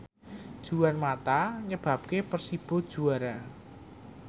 Juan mata nyebabke Persibo juara